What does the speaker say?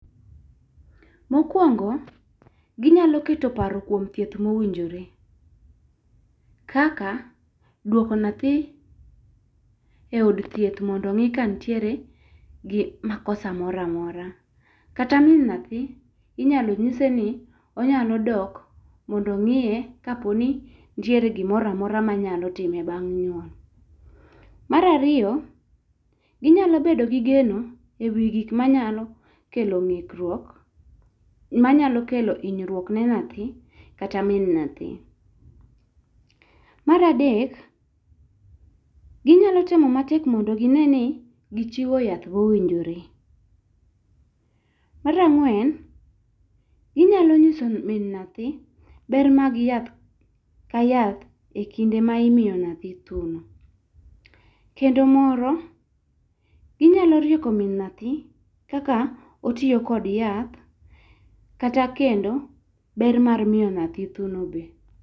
Mokuongo gi nyalo keto paro kuom thieth ma owinjore kaka duoko nyathi e od thieth mondo ong'i ka nitiere gi makosa moro amora kata min nyathi inyalo ng'ise ni onyalo dok mondo ong'iye ka po ni nitiere gi moro amora ma nyalo time bang' nyuol. Mar ariyo, inyalo bedo gi geno e wi gik ma nyalo kelo inyruok ma nyalo kelo inyruok ne nyathi kata min nyathi. Mar adek gi nya temo matek mondo gi ne ni gi chiwo yath mo owinjore. Mar angwen, gi njyalo ng'iso min nyathi ber mar yath ka yath e kinde ma imiyo nyathi thuno kendo moro gi nyalo rieko min nyathi kaka otiyo kod yath kata kendo ber mar miyo nyathi thuni be.